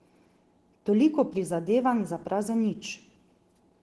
Toliko prizadevanj za prazen nič!